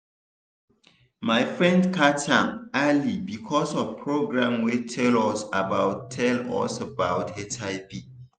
my friend catch am early because of program wey tell us about tell us about hiv.